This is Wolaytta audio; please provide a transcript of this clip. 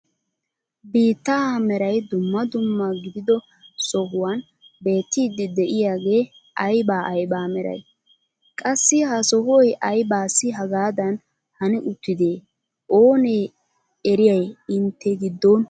Biittaa meray dumma dumma gidido sohuwaan beettiidi de'iyaagee ayba ayba meray? Qassi ha sohoy aybassi hagaadan hani uttidee oonee eriyay intte giddon?